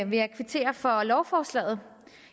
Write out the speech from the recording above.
vil jeg kvittere for lovforslaget